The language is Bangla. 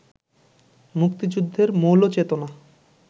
মুক্তিযুদ্ধের মৌল চেতনা